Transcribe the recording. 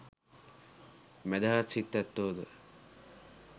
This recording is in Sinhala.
මැදහත් සිත් ඇත්තෝ ද,